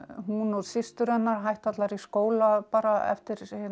hún og systur hennar hættu allar í skóla bara eftir